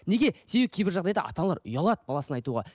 неге себебі кейбір жағдайда ата аналар ұялады баласына айтуға